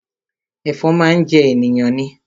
Ẹ̀fọn máa ń jẹ ènìyàn ni